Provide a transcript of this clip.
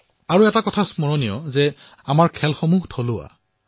মনত ৰাখিব লাগিব যে আমাৰ ভাৰতীয় খেলসমূহো থলুৱা